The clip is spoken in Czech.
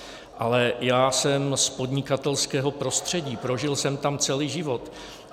Ale já jsem z podnikatelského prostředí, prožil jsem tam celý život.